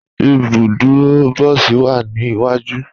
Ibùdúrò bọ̀sí wa ni iwaju.